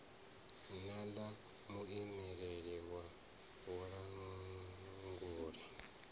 na ḽa muimeleli wa vhulanguli